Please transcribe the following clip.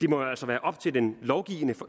det må jo altså være op til den